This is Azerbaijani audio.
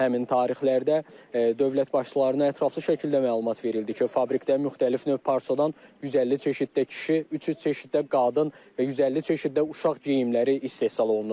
Həmin tarixlərdə dövlət başçılarına ətraflı şəkildə məlumat verildi ki, fabrikdə müxtəlif növ parçadan 150 çeşiddə kişi, 300 çeşiddə qadın və 150 çeşiddə uşaq geyimləri istehsal olunur.